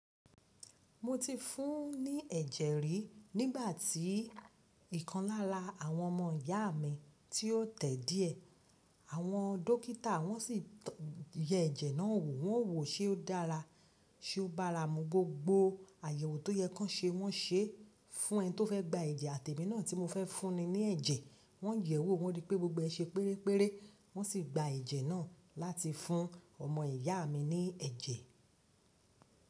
Mo ti fún un ní ẹ̀jẹ̀ rí nígbà tí ìkan lá lá awọn ọmọ ìyá mi tí ó tẹ̀ díẹ̀. Àwọn dókítà wọ́n sì yẹ ẹ̀jẹ̀ náà wò, wọ́n wò ó ṣe ó dára, ṣe ó bára mu, gbogbo àyèwò tó yẹ kí wọ́n ṣe wọ́n ṣe fún ẹni tó fẹ́ gba ẹ̀jẹ̀ àti èmi náà tí mo fẹ́ fúnni ní ẹ̀jẹ̀. Wọ́n yẹ̀wò wọ́n rí pé gbogbo ẹ ṣe péré péré, wọ́n sì gba ẹ̀jẹ̀ náà láti fún ọmọ ìyá mi ní ẹ̀jẹ̀.